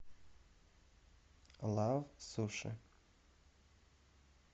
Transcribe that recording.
лав суши